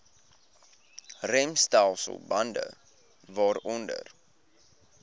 remstelsel bande waaronder